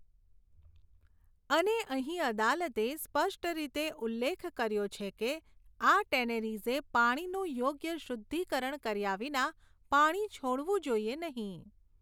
અને અહીં અદાલતે સ્પષ્ટ રીતે ઉલ્લેખ કર્યો છે કે આ ટેનેરીઝે પાણીનું યોગ્ય શુદ્ધિકરણ કર્યા વિના પાણી છોડવું જોઈએ નહીં.